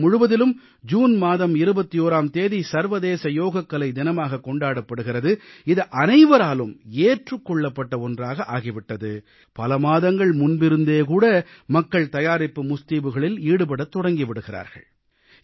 உலகம் முழுவதிலும் ஜூன் மாதம் 21ஆம் தேதி சர்வதேச யோகக்கலை தினமாகக் கொண்டாடப்படுகிறது இது அனைவராலும் ஏற்றுக் கொள்ளப்பட்ட ஒன்றாக ஆகி விட்டது பல மாதங்கள் முன்பிருந்தே மக்கள் தயாரிப்பு முஸ்தீபுகளில் ஈடுபடத் தொடங்கி விடுகிறார்கள்